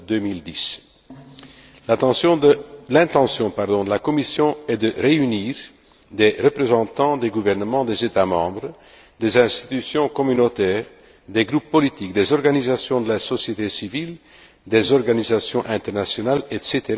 2010. L'intention de la Commission est de réunir des représentants des gouvernements des États membres, des institutions communautaires, des groupes politiques, des organisations de la société civile, des organisations internationales, etc.,